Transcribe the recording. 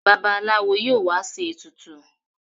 Babalawo yíò wá ṣe ètùtù.